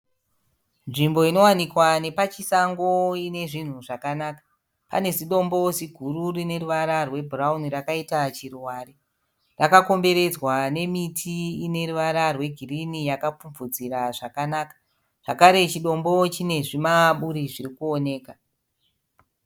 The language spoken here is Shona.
Nzvimbo inowanikwa nepachisango ine zvinhu zvakanaka. Pane zidombo ziguru rine ruvara rwebhurauni rakaita chiruvare. Rakakomberedzwa nemiti ine ruvara rwegirini yakapfupfudzira zvakanaka. Zvakare, chidombo chine zvimaburi zviri kuoneka.